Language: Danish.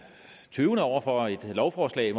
tøvende over for et lovforslag